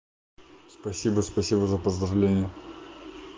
спасибо спасибо за поздравление